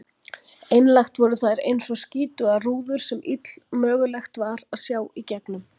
Einlægt voru þær einsog skítugar rúður sem illmögulegt var að sjá gegnum.